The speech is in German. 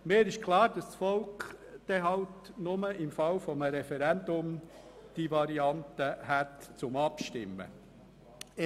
Mir ist klar, dass das Volk darüber nur im Falle eines Referendums abstimmen kann.